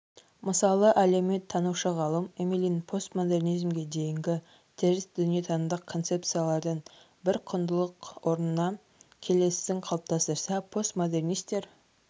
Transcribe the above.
мысалы әлеуметтанушы ғалым емелин постмодернизмге дейінгі теріс дүниетанымдық концепциялардың бір құндылық орнына келесісін қалыптастырса постмодернистер